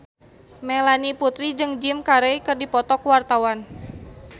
Melanie Putri jeung Jim Carey keur dipoto ku wartawan